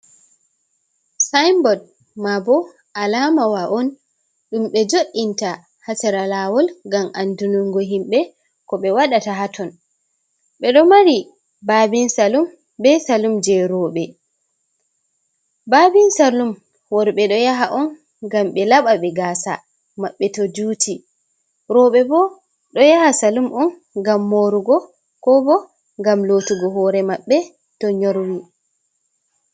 Saayinbot , maa bo a laamawa on ɗum ɓe jo´inta haa sera laawol, ngam anndunngo himɓe ko ɓe waɗata haa ton, ɓe ɗo mari baabin salun, be salun jey rooɓe, baabin salun worɓe ɗo yaha on ngam ɓe laɓa be gaasa maɓɓe to juuti. Rooɓe bo ɗo yaha salun on ngam moorugo ko bo ngam lootugo hoore maɓɓe to nyorwi.